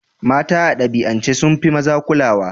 Mata a dabi'ance sun fi maza kulawa.